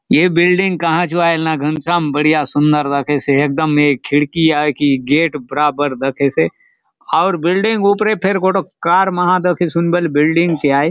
ए building कहाँ चो आय ना घनश्याम बढ़िया सुंदर दखेसे एक दम ए खिड़की आय की गेट बराबर दखेसे आउर बिल्डिंग ऊपरे फेर गोटोक कार मा दखेसे हुन बले बिल्डिंग ची आय।